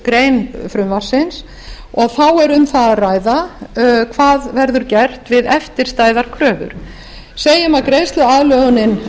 greinar frumvarpsins að ræða og þá er um það að ræða hvað verður gert við eftirstæðar kröfur segjum að greiðsluaðlögunin